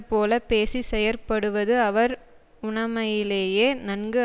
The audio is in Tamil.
போல பேசிச்செயற்படுவது அவர் உணமையிலேயே நன்கு